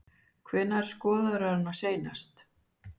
Hvenær skoðaðirðu hana seinast?